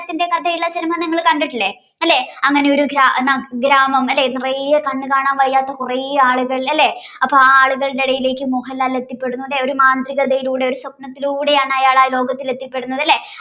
കഥയുള്ള cinema നിങ്ങൾ കണ്ടിട്ടില്ലേ അല്ലേ അങ്ങനെ ഒരു ഗ്രാമം അല്ലേ നിറയെ കണ്ണ് കാണാൻ വയ്യാത്ത കുറേ ആളുകൾ അല്ലേ അപ്പ ആളുകളുടെ ഇടയിലേക്ക് മോഹൻലാൽ എത്തിപ്പെടുന്നുണ്ട് ഒരു മാന്ത്രികതയിലൂടെ ഒരു സ്വപ്നത്തിലൂടെ ആൺ അയാൾ എത്തിപ്പെടുന്നത് എത്തിപ്പെടുന്നത് അല്ലേ